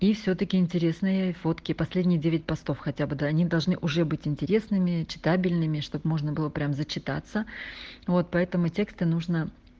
и всё-таки интересные фотки последние девять постов хотя бы они должны уже быть интересными читабельны чтобы можно было прямо зачитаться вот поэтому тексты нужно